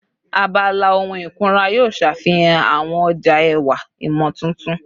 Abala ohun ikunra yoo ṣafihan awọn ọja ẹwa imotuntun